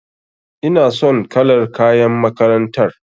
Ina son kalar kayan makarantar.